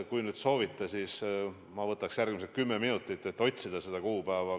Kui te soovite seda kohe, siis ma võtaks järgmised kümme minutit, et seda kuupäeva otsida.